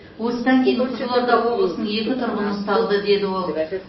осыдан кейін қызылорда облысының екі тұрғыны ұсталды деді ол